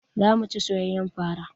Zamu ci soyayyar fara